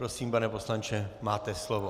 Prosím, pane poslanče, máte slovo.